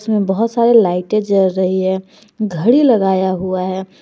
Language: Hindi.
इसमें बहुत सारे लाइटे जल रही है घड़ी लगाया हुआ है।